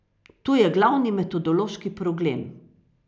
Tu je glavni metodološki problem.